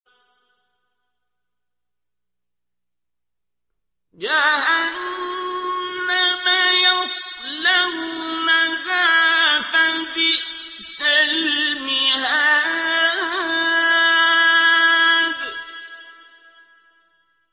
جَهَنَّمَ يَصْلَوْنَهَا فَبِئْسَ الْمِهَادُ